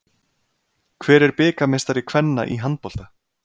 Hver er bikarmeistari kvenna í handbolta?